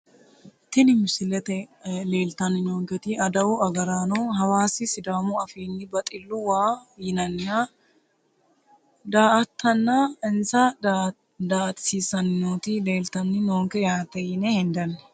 Tini misilete leltani noonketi adawu agaraano hawaasi sidaamu afiini baxillu waa yinaniha daa`atana insa daa`atatisisani nooti leeltani noonke yaate yine hendani.